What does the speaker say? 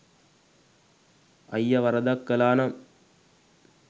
අයිය වරදක් කළානම්